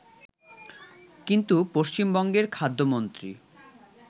কিন্তু পশ্চিমবঙ্গের খাদ্যমন্ত্রী